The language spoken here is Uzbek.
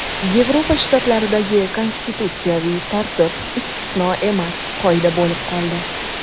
Yevropa shtatlaridagi konstitutsiyaviy tartib istisno emas, qoida bo‘lib qoldi.